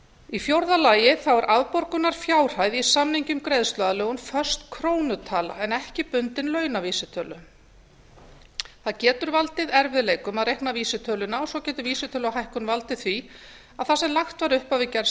í fjórða lagi er afborgunarfjárhæð í samningi um greiðsluaðlögun föst krónutala en ekki bundin launavísitölu það getur valdið erfiðleikum að reikna vísitöluna og svo getur vísitöluhækkun valdið því að það sem lagt var upp af við gerð